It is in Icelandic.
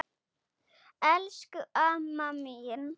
Elsku amma mín.